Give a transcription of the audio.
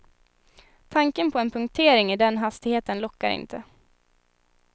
Tanken på en punktering i den hastigheten lockar inte.